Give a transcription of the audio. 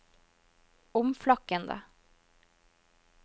omflakkende